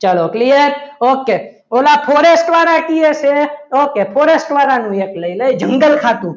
ચલો clear okay ઓલા forest વાળા કહે છે ઓકે forest વાળા નું એક લઈ લઈએ જંગલ ખાતું.